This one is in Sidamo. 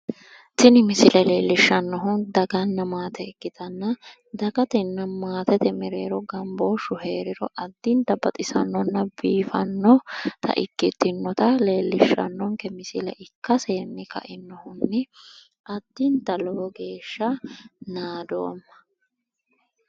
Tini misile leelishanohu dagana maate ikkittanna dagatenna maatete mereero gamboshu heeriro lowo heeshsha biiffinohanna baxisoha ikkanna tene la"ani addittani naadoomma".